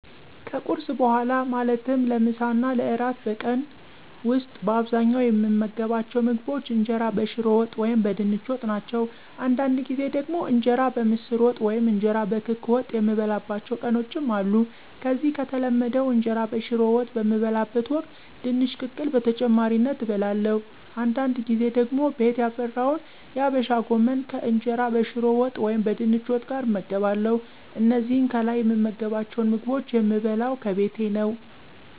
ከቁርስ በኋላ ማለትም ለምሳ እና ለእራት በቀን ዉስጥ በአብዛኛዉ የምመገባቸዉ ምግቦች እንጀራ በሽሮ ወጥ ወይም በድንች ወጥ ናቸው። አንዳንድ ጊዜ ደግሞ እንጀራ በምስር ወጥ ወይም እንጀራ በክክ ወጥ የምበላባቸዉ ቀኖችም አሉ። ከዚህ ከተለመደዉ እንጀራ በሽሮ ወጥ በምበላበት ወቅት ድንች ቅቅል በተጨማሪነት እበለለሁ፤ አንዳድ ጊዜ ደግሞ ቤት ያፈራውን የአበሻ ጎመን ከእንጀራ በሽሮ ወጥ ወይም በድንች ወጥ ጋር እመገባለሁ። እነዚህን ከላይ የምመገባቸዉን ምግቦች የምበለው ከቤቴ ነው።